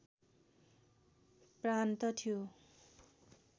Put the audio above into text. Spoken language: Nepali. प्रान्त थियो